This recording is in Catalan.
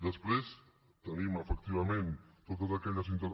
després tenim efectivament totes aquelles intervencions